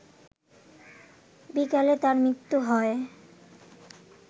বিকালে তার মৃত্যু হয়